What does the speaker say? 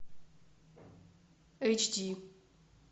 эйч ди